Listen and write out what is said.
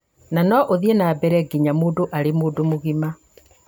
na no ũthiĩ na mbere nginya mũndũ arĩ mũgima